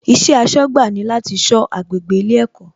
Iṣẹ́ aṣọ́gbà ni láti sọ agbègbè ilé ẹ̀kọ́